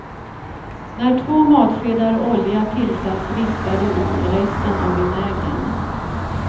När två matskedar olja tillsatts vispar du i resten av vinägern.